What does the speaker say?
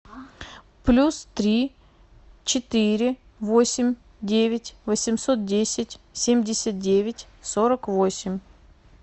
плюс три четыре восемь девять восемьсот десять семьдесят девять сорок восемь